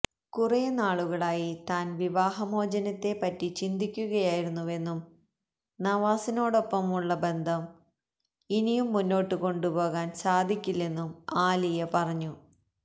കുറേ നാളുകളായി താൻ വിവാഹമോചനത്തെ പറ്റി ചിന്തുക്കുകയായിരുന്നുവെന്നും നവാസിനോടൊപ്പമുള്ള ബന്ധം ഇനിയും മുന്നോട്ട് കൊണ്ടുപോകാൻ സാധിക്കില്ലെന്നും ആലിയ പറഞ്ഞു